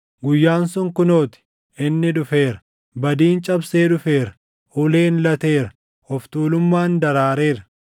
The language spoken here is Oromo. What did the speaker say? “ ‘Guyyaan sun kunoo ti! Inni dhufeera! Badiin cabsee dhufeera; uleen lateera; of tuulummaan daraareera!